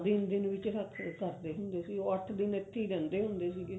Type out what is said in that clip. ਦਿਨ ਦਿਨ ਵਿੱਚ ਕਰਦੇ ਹੁੰਦੇ ਸੀ ਉਹ ਅੱਠ ਦਿਨ ਇੱਥੇ ਰਹਿੰਦੇ ਹੁੰਦੇ ਸੀਗੇ